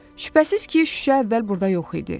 Şübhəsiz ki, şüşə əvvəl burda yox idi.